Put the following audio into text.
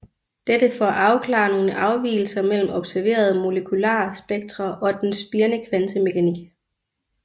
Dette for at afklare nogle afvigelser mellem observerede molekular spektre og den spirende kvantemekanik